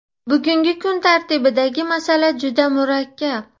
Bugungi kun tartibidagi masala juda murakkab.